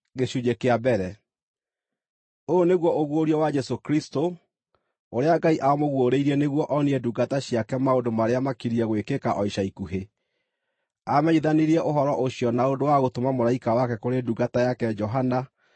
Ũyũ nĩguo ũguũrio wa Jesũ Kristũ, ũrĩa Ngai aamũguũrĩirie nĩguo onie ndungata ciake maũndũ marĩa makiriĩ gwĩkĩka o ica ikuhĩ. Aamenyithanirie ũhoro ũcio na ũndũ wa gũtũma mũraika wake kũrĩ ndungata yake Johana,